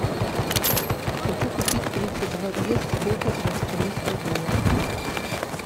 хочу купить тридцать два песо сколько это в австралийских долларах